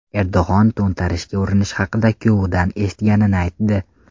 Erdo‘g‘on to‘ntarishga urinish haqida kuyovidan eshitganini aytdi.